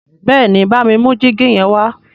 béèni bámi mú jìgì yen wá